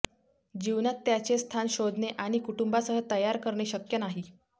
जीवनात त्याचे स्थान शोधणे आणि कुटुंबासह तयार करणे शक्य नाही